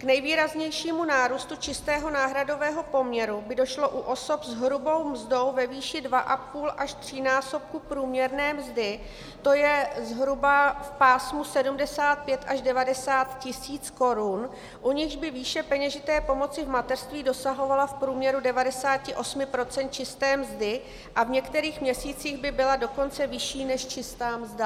K nejvýraznějšímu nárůstu čistého náhradového poměru by došlo u osob s hrubou mzdou ve výši 1,2- až třínásobku průměrné mzdy, to je zhruba v pásmu 75 až 90 tisíc korun, u nichž by výše peněžité pomoci v mateřství dosahovala v průměru 98 % čisté mzdy a v některých měsících by byla dokonce vyšší než čistá mzda.